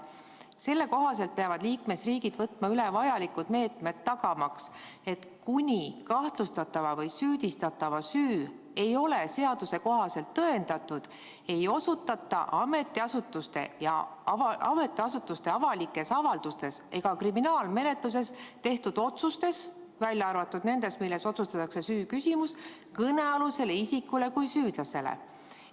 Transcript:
Selle kohaselt peavad liikmesriigid võtma üle vajalikud meetmed tagamaks, et seni, kuni kahtlustatava või süüdistatava süü ei ole seaduse kohaselt tõendatud, ei osutata ametiasutuste avalikes avaldustes ega kriminaalmenetluses tehtud otsustes, välja arvatud nendes, milles otsustatakse süü küsimus, kõnealusele isikule kui süüdlasele.